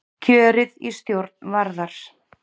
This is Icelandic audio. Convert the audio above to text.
Kjörið í stjórn Varðar